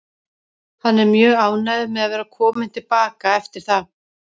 Hann er mjög ánægður með að vera kominn til baka eftir það.